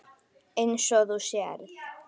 Eins og þú sérð.